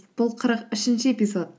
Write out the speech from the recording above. бұл қырық үшінші эпизод